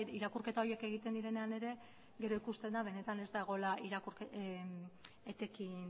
irakurketa horiek egiten direnean ere gero ikusten da benetan ez dagoela etekin